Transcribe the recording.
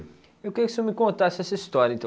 Eu queria que o senhor me contasse essa história, então.